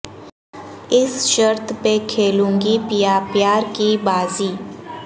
اس شرط پے کھیلوں گی پیا پیار کی بازی